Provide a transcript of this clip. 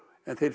en